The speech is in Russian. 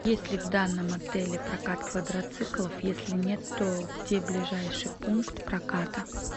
есть ли в данном отеле прокат квадроциклов если нет то где ближайший пункт проката